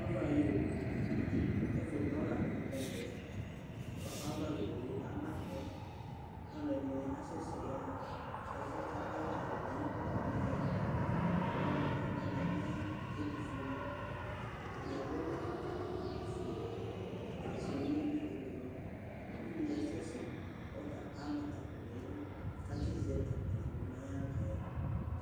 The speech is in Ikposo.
Ava yu owu ɛfutɔ la nu ɛvɛ kɔ ava yɔ wué aba tɔ ka alɛdini asɛsɛ yaha ɛfɛ ka ava ayu owué ma yɛ alu wani ɛdi lɛ ɛtu foé ni ɛdi adu awu ofoé ɛdini su bi lɛ ublu uvidi asɛsɛ kɔ ama akpo ni idu ka tsi sɛ akpo digbo na ya wlă yɛ